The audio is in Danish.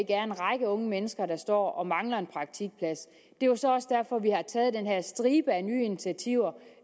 er en række unge mennesker der står og mangler en praktikplads det jo så også derfor vi har taget den her stribe af nye initiativer